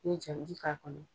N'i ye jabibi k'a kɔnɔ